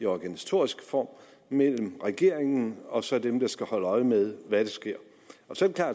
organisatoriske form mellem regeringen og så dem der skal holde øje med hvad der sker